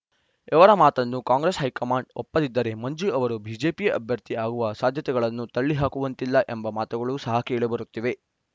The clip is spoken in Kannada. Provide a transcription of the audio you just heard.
ಇವರ ಮಾತನ್ನು ಕಾಂಗ್ರೆಸ್‌ ಹೈಕಮಾಂಡ್‌ ಒಪ್ಪದಿದ್ದರೆ ಮಂಜು ಅವರು ಬಿಜೆಪಿ ಅಭ್ಯರ್ಥಿ ಆಗುವ ಸಾಧ್ಯತೆಗಳನ್ನು ತಳ್ಳಿ ಹಾಕುವಂತಿಲ್ಲ ಎಂಬ ಮಾತುಗಳು ಸಹ ಕೇಳಿ ಬರುತ್ತಿವೆ